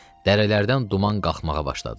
Dərələrdən duman qalxmağa başladı.